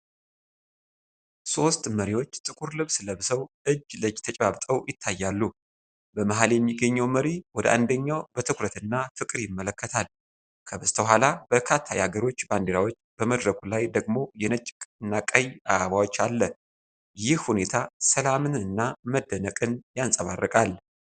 ሦስት መሪዎች ጥቁር ልብስ ለብሰው እጅ ለእጅ ተጨባብጠው ይታያሉ። በመሃል የሚገኘው መሪ ወደ አንደኛው በትኩረት እና ፍቅር ይመለከታል። ከበስተኋላ በርካታ የአገሮች ባንዲራዎችና በመድረኩ ላይ ደግሞ የነጭ እና ቀይ አበባዎች አለ። ይህ ሁኔታ ሰላምንና መደነቅን ያንጸባርቃል።